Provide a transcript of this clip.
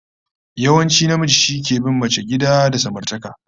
Yawanci namiji shi take bin mace gida da samartaka